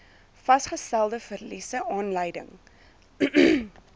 vasgestelde verliese aanleiding